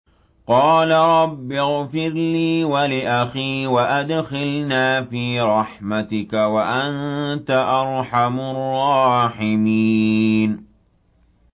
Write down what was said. قَالَ رَبِّ اغْفِرْ لِي وَلِأَخِي وَأَدْخِلْنَا فِي رَحْمَتِكَ ۖ وَأَنتَ أَرْحَمُ الرَّاحِمِينَ